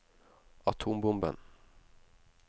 atombomben